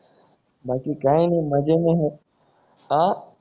बाकी काय नाही मजे मी है आह